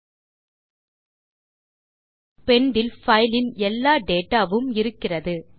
நாம் பெண்ட் இல் பைல் இன் எல்லா டேட்டா வும் இருக்கிறது